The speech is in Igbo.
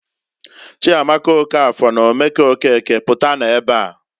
"Chiamaka Okafor na Omeke Okeke, pụtanụ ebeaǃ"